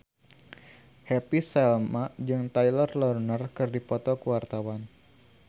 Happy Salma jeung Taylor Lautner keur dipoto ku wartawan